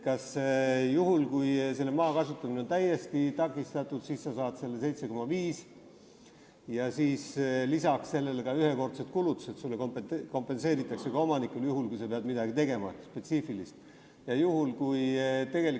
Kui su maa kasutamine on täiesti takistatud, siis saad sa selle 7,5 ja lisaks kompenseeritakse sulle kui omanikule ühekordsed kulutused – juhul, kui sa pead midagi spetsiifilist tegema.